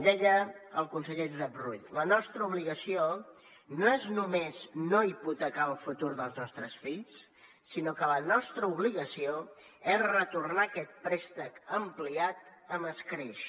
deia el conseller josep rull la nostra obligació no és només no hipotecar el futur dels nostres fills sinó que la nostra obligació és retornar aquest préstec ampliat amb escreix